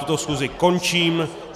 Tuto schůzi končím.